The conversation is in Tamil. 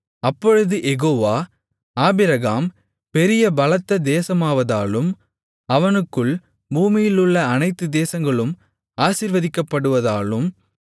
அப்பொழுது யெகோவா ஆபிரகாம் பெரிய பலத்த தேசமாவதாலும் அவனுக்குள் பூமியிலுள்ள அனைத்து தேசங்களும் ஆசீர்வதிக்கப்படுவதாலும்